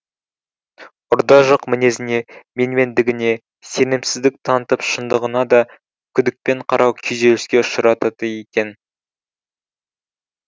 ұрда жық мінезіне менмендігіне сенімсіздік танытып шындығыңа да күдікпен қарау күйзеліске ұшыратады екен